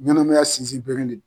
Ɲananmaya sinzin beren de do.